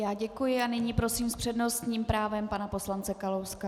Já děkuji a nyní prosím s přednostním právem pana poslance Kalouska.